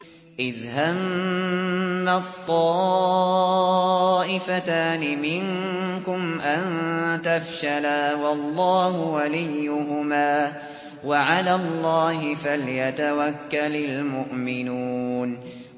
إِذْ هَمَّت طَّائِفَتَانِ مِنكُمْ أَن تَفْشَلَا وَاللَّهُ وَلِيُّهُمَا ۗ وَعَلَى اللَّهِ فَلْيَتَوَكَّلِ الْمُؤْمِنُونَ